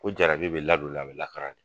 Ko jarabi bɛ ladon le a bɛ lakaran de